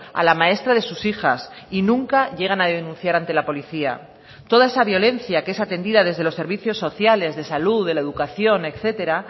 a la maestra de sus hijas y nunca llegan a denunciar ante la policía toda esa violencia que es atendida desde los servicios sociales de salud de la educación etcétera